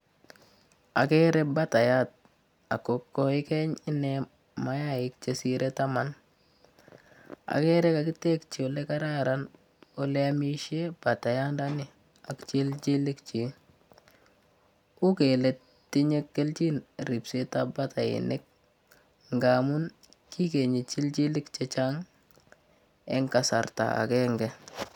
Agerei batayat ako goigeny inee mayaik chesirei taman. Agerei kakitekyi olekaran oleamishee batayandani ak chilchilik chik. Uu kele tinyei keljin ribsetab batainik ngun kigenyi chilchilik chechang' eng kasarta agenge.